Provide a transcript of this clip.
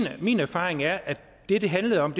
og min erfaring er at det det handlede om